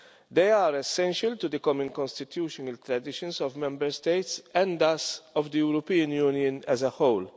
They are essential to the common constitutional traditions of Member States and thus of the European Union as a whole.